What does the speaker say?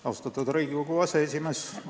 Austatud Riigikogu aseesimees!